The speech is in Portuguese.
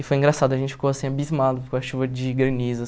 E foi engraçado, a gente ficou assim abismado com a chuva de granizo.